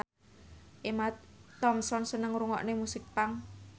Emma Thompson seneng ngrungokne musik punk